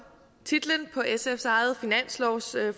titlen på sfs eget finanslovsforslag